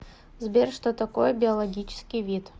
сбер что такое биологический вид